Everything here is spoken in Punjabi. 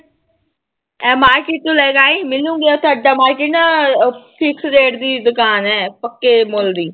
ਇਹ market ਚੋਂ ਲੈ ਕੇ ਆਈ ਸਾਡਾ market ਨਾ fix rate ਦੀ ਦੁਕਾਨ ਹੈ ਪੱਕੇ ਮੁੱਲ ਦੀ